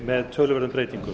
með töluverðum breytingum